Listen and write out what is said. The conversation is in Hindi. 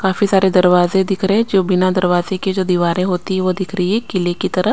काफी सारे दरवाजे दिख रहे जो बिना दरवाजे के जो दीवारों होती हैं वो दिख रही है किले की तरह।